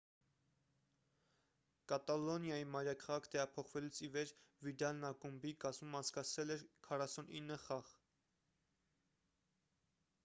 կատալոնիայի մայրաքաղաք տեղափոխվելուց ի վեր վիդալն ակումբի կազմում անցկացրել էր 49 խաղ